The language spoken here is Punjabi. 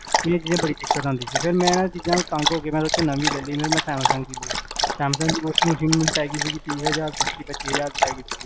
ਇਹ ਚ ਨਾ ਬੜੀ ਦਿੱਕਤ ਆਂਦੀ ਸੀ ਫੇਰ ਮੈਂ ਨਾ ਇੰਨਾ ਚੀਜਾਂ ਤੋ ਤੰਗ ਹੋ ਕੇ, ਮੈਂ ਨਵੀ ਲੈ ਲੀ, ਜਿਵੇਂ ਮੈਂ ਸੈਮਸੰਗ ਦੀ ਲਈ ਸੈਮਸੰਗ ਦੀ washing machine ਮੈਨੂ ਪੀ ਗੀ ਸੀ ਤੀਹ ਹਜਾਰ ਦੀ, ਪਚੀ ਹਜਾਰ ਦੀ ਪੈ ਗੀ ਸੀ